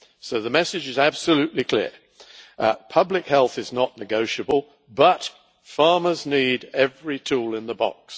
So the message is absolutely clear public health is not negotiable, but farmers need every tool in the box.